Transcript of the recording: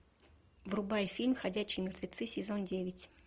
врубай фильм ходячие мертвецы сезон девять